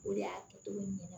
O de y'a kɛcogo ɲɛna